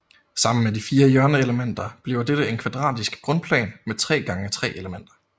Sammen med de fire hjørneelementer bliver dette en kvadratisk grundplan med tre gange tre elementer